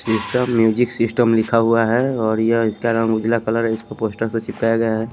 Insta music system लिखा हुआ है और यह इसका नाम उजला कलर है इसको पोस्टर से चिपकाया गया है।